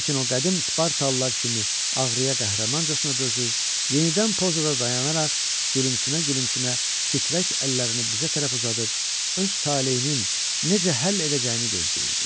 Lakin o qədim spartalılar kimi ağrıya qəhrəmancasına dözür, yenidən pozada dayanaraq gülümsünə-gülümsünə titrək əllərini bizə tərəf uzadıb öz taleyinin necə həll edəcəyini gözləyirdi.